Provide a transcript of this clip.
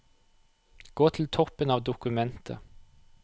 Gå til toppen av dokumentet